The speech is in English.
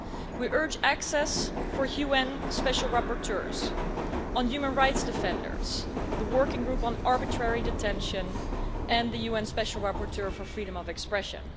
We urge access for UN special rapporteurs on human rights defenders, the Working Group on Arbitrary Detention and the UN Special Rapporteur for freedom of expression.